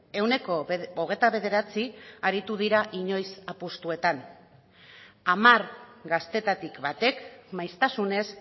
ehuneko hogeita bederatzi aritu dira inoiz apustuetan hamar gaztetatik batek maiztasunez